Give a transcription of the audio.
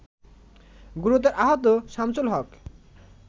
গুরুতর আহত শামছুলহক